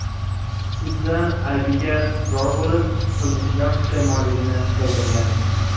sudda aybiga iqror bo‘lib, qilmishidan pushaymonligini bildirgan.